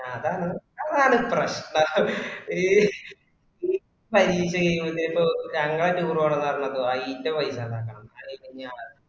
ആ അതാണ്. അതാണ് പ്രശ്‌നം ഏഹ് ഇ പരീഷ കായിമ്പയേകും ഞങ്ങളെ tour പോണോന്ന് പറഞപ്പോ അയിന്റെ പയ്‌ഷ ഉണ്ടക്കണോന്ന